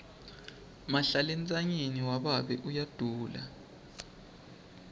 mahlalentsanyeni wababe uyadula